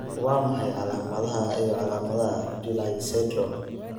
Waa maxay calaamadaha iyo calaamadaha Pillay syndrome?